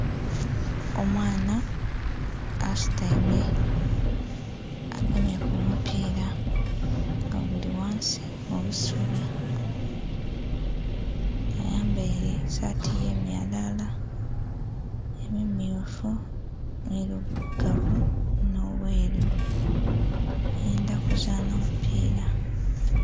Omwana asutaime, agemye ku mupiira nga guli ghansi mu busubi. Ayambaile saatu y'emyalaala, emimmyufu, nh'emilugavu, nh'obweru. Ayendha kuzaana mupiira.